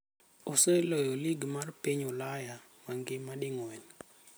Oseloyo Lig mar piny Ulaya mangima ding'wen.